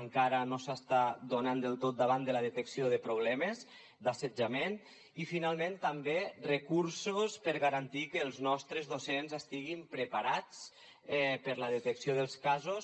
encara no s’està donant del tot davant de la detecció de problemes d’assetjament i finalment també recursos per garantir que els nostres docents estiguin preparats per a la detecció dels casos